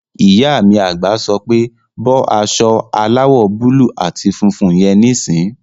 Ìyá mi àgbà sọ pé "bọ́ aṣọ aláwọ̀ búúlù àti funfun yẹn níìsín!"